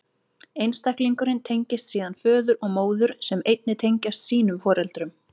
Einstaklingurinn tengist síðan föður og móður, sem einnig tengjast sínum foreldrum.